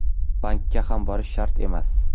Bankka ham borish shart emas.